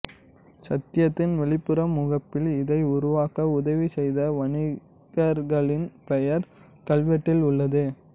சைத்தியத்தின் வெளிப்புற முகப்பில் இதை உருவாக்க உதவி செய்த வணிகர்களின் பெயர்கள் கல்வெட்டில் உள்ளது